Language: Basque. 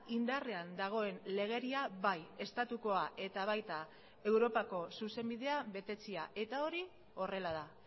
indarrean dagoen legedia bai estatukoa eta baita europako zuzenbidea betetzea eta hori horrela da